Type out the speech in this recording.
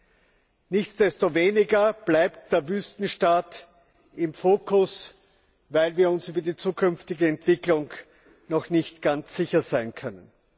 Ungeachtet dessen bleibt der Wüstenstaat im Fokus, weil wir uns über die zukünftige Entwicklung noch nicht ganz sicher sein können.